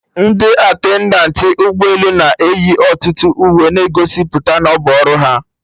Ndị attendant ụgbọ elu na eyi ọtụtụ uwe na-egosipụta na ọbụ ọrụ ha